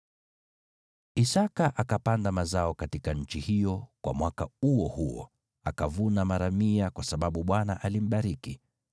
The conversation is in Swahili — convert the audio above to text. Isaki akapanda mazao katika nchi hiyo, kwa mwaka huo huo, akavuna mara mia, kwa sababu Bwana alimbariki.